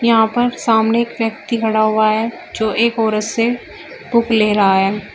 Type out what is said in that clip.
यहां पर सामने एक व्यक्ति खड़ा हुआ है जो एक औरत से बुक ले रहा है।